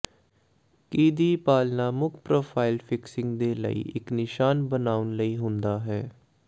ਕੀ ਦੀ ਪਾਲਣਾ ਮੁੱਖ ਪ੍ਰੋਫ਼ਾਈਲ ਫਿਕਸਿੰਗ ਦੇ ਲਈ ਇੱਕ ਨਿਸ਼ਾਨ ਬਣਾਉਣ ਲਈ ਹੁੰਦਾ ਹੈ